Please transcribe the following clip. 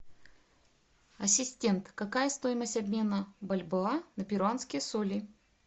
ассистент какая стоимость обмена бальбоа на перуанские соли